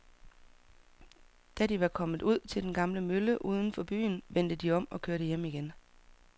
Da de var kommet ud til den gamle mølle uden for byen, vendte de om og kørte hjem igen.